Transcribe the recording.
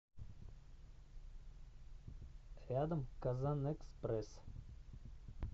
рядом казанэкспресс